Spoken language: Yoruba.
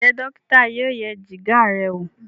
Njé dókítà yóò yẹ Jìgá rẹ wọ?